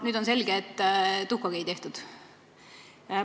Nüüd on selge, et tuhkagi ei tehtud.